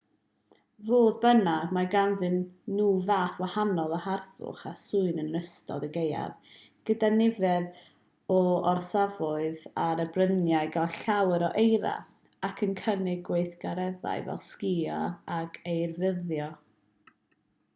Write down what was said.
fodd bynnag mae ganddyn nhw fath gwahanol o harddwch a swyn yn ystod y gaeaf gyda nifer o orsafoedd ar y bryniau'n cael llawer o eira ac yn cynnig gweithgareddau fel sgïo ac eirafyrddio